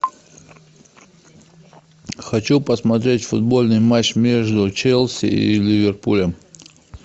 хочу посмотреть футбольный матч между челси и ливерпулем